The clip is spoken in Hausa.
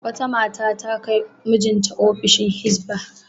Wata mata ta kai mijinta ofishin Hizba.